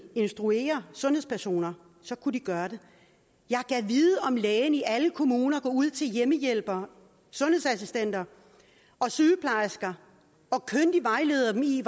instruere sundhedspersoner så kunne de gøre det jeg gad vide om lægen i alle kommuner går ud til hjemmehjælpere sundhedsassistenter og sygeplejersker og kyndigt vejleder dem i